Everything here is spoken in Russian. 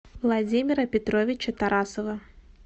владимира петровича тарасова